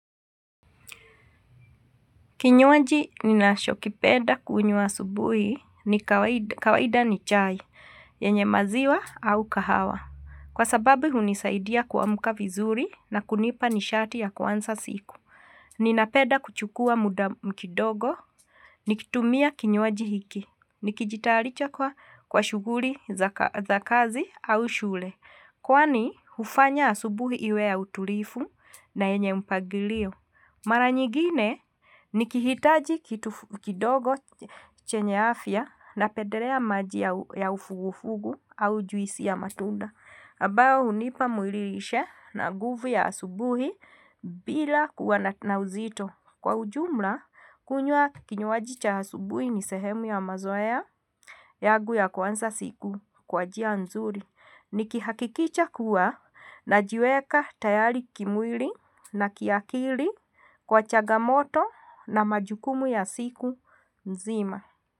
Kinywaji ninachokipenda kunywa asubuhi, kawaida ni chai yenye maziwa au kahawa. Kwa sababu hunisaidia kuamka vizuri na kunipa nishati ya kuanza siku. Ninapenda kuchukua muda kidogo nikitumia kinywaji hiki, nikijitarisha kwa shuguli za kazi au shule. Kwani hufanya asubuhi iwe ya utulivu na yenye mpangilio. Mara nyigine, nikihitaji kidogo chenye afya, napendelea maji ya ufugufugu au juisi ya matunda ambao hunipa muiririshe na nguvu ya asubuhi bila kuwa na uzito. Kwa ujumla kunywa kinywaji cha asubuhi ni sehemu ya mazoea yangu ya kuanza siku kwa njia nzuri. Nikihakikisha kuwa najiweka tayari kimwili na kiakili kwa chagamoto na majukumu ya siku nzima.